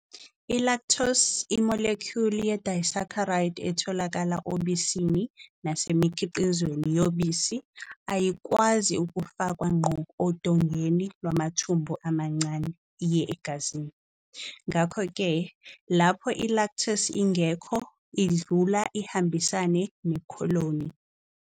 I-Lactose, i-molecule ye-disaccharide etholakala obisini nasemikhiqizweni yobisi, ayikwazi ukufakwa ngqo odongeni lwamathumbu amancane iye egazini, ngakho-ke, lapho i-lactase ingekho, idlula ihambisane nekholoni.